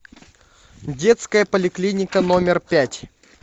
детская поликлиника номер пять